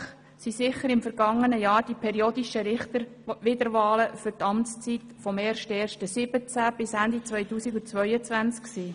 Ausserordentlich waren im vergangenen Jahr sicher die periodischen Richterwiederwahlen für die Amtszeit vom 1. 1. 2017 bis Ende 2022.